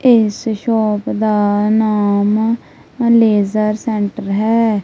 ਇਸ ਸ਼ੋਪ ਦਾ ਨਾਮ ਲੇਜ਼ਰ ਸੈਂਟਰ ਹੈ।